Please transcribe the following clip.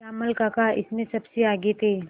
श्यामल काका इसमें सबसे आगे थे